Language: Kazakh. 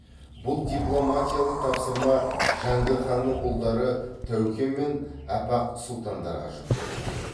бұл дипломатиялық тапсырма жәңгір ханның ұлдары тәуке мен апақ сұлтандарға жүктелді